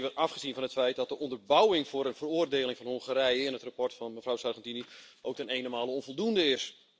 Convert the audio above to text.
Nog even afgezien van het feit dat de onderbouwing voor een veroordeling van Hongarije in het verslag van mevrouw Sargentini ook ten enenmale onvoldoende is.